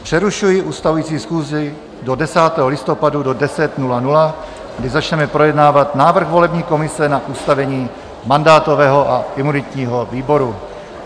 Přerušuji ustavující schůzi do 10. listopadu do 10.00, kdy začneme projednávat návrh volební komise na ustavení mandátového a imunitního výboru.